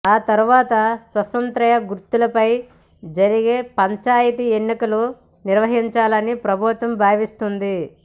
ఆ తర్వాత స్వతంత్ర గుర్తులపై జరిగే పంచాయతీ ఎన్నికలు నిర్వహించాలని ప్రభుత్వం భావిస్తోంది